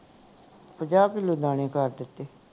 ਪੰਜਾਹ ਕਿੱਲੋ ਦਾਣੇ ਕਰ ਦਿੱਤੇ